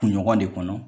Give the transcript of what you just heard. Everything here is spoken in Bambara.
Kunɲɔgɔn de kɔnɔ